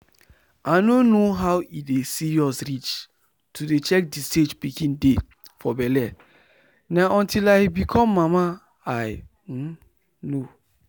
i nor know how e dey serious reach to dey check the stage pikin dey for belle na until i become mama i um know.